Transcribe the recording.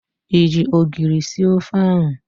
Ị ji ogiri sie ofe ahụ?